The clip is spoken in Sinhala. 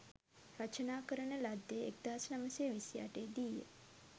රචනා කරන ලද්දේ 1928 දී ය.